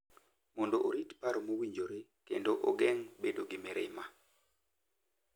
Mondo orit paro mowinjore kendo ogeng’ bedo gi mirima.